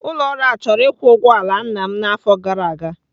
Ụlọ ọrụ ahụ chọrọ ịkwụ ụgwọ ala nna m n'afọ gara aga.